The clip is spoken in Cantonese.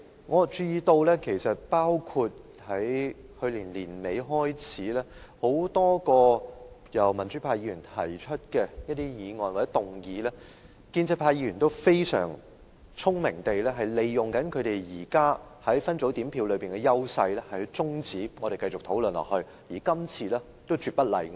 我注意到從去年年尾開始，就多項民主派議員提出的議案，建制派議員均非常聰明地利用他們現時在分組點票上的優勢終止我們的討論，今次亦絕不例外。